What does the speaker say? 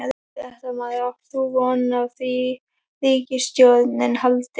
Fréttamaður: Átt þú von á því að ríkisstjórnin haldi?